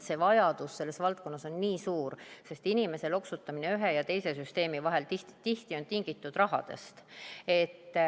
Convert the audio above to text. See vajadus selles valdkonnas on nii suur, sest inimese loksutamine ühe ja teise süsteemi vahel on tihti tingitud rahadest.